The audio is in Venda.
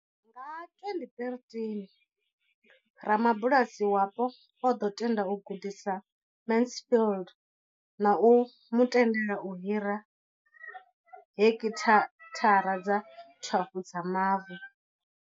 Nga 2013, rabulasi wapo o ḓo tenda u gudisa Mansfield na u mu tendela u hira heki thara dza 12 dza mavu.